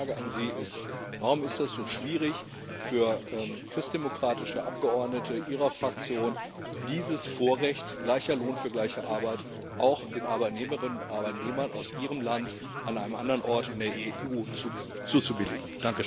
Meine Frage an Sie ist Warum ist das so schwierig für christdemokratische Abgeordnete, Ihrer Fraktion, dieses Vorrecht gleicher Lohn für gleiche Arbeit auch den Arbeitnehmerinnen und Arbeitnehmern aus Ihrem Land an einem anderen Ort in der EU zuzubilligen?